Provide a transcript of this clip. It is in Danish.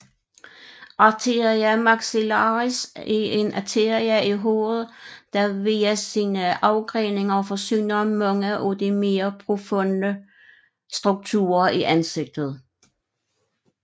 Arteria maxillaris er en arterie i hovedet der via sine afgreninger forsyner mange af de mere profunde strukturer i ansigtet